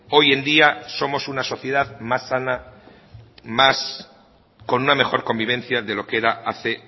hoy en día somos una sociedad más sana con una mejor convivencia de lo que era hace